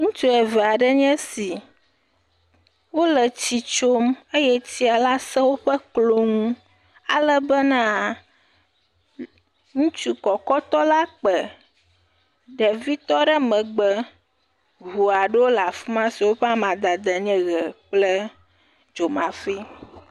Ŋutsu eve aɖee nye si. Wo le etsi tsom eye tsia la se woƒe klo nu, ale bena ŋutsu kɔkɔtɔ la kpe ɖevi tɔ ɖe megbe. Ŋu aɖewo le afi ma siwo ƒe amadede ny eʋe kple dzomafi.